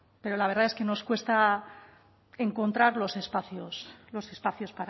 pero la verdad es que nos cuesta encontrar los espacios los espacios